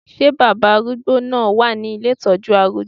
Ṣé baba arúgbó náà wà ní ilé ìtọ́jú arúgbó?